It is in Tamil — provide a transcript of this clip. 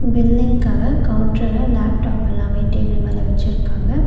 பில்லிங்காக கவுன்டர்ல லாப்டாப் எல்லாமே டேபிள் மேல வச்சிருக்காங்க.